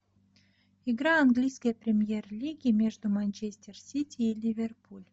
игра английской премьер лиги между манчестер сити и ливерпуль